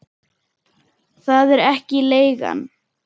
Það er ekki leigan.